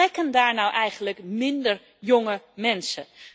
Vertrekken daar nu eigenlijk minder jonge mensen?